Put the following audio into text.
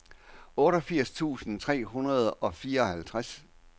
otteogfirs tusind tre hundrede og fireoghalvtreds